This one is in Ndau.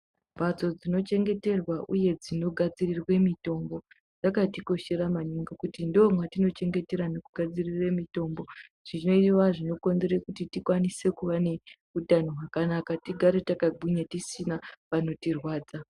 Mbatso dzino chengeterwa uye dzinogadzidzirwe mitombo dzakati koshera maningi kuti ndoo matinochengetera nekugadzirire mitombo zvinova zvinokonzeresa kuti tikwanise kuva neutano wakanaka tigare takagwinya uye tisina panotirwadza.